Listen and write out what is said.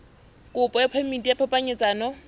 kopo ya phemiti ya phapanyetsano